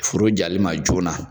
Foro jalen ma joona